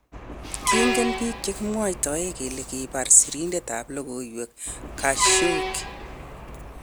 Kingen biik chekimwoitoen kele kibar sirindet ab logoiwek Khashoggi.